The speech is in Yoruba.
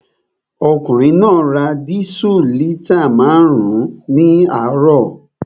Ọkùnrin náà ra dísù lítà márùn-ún ní àárọ̀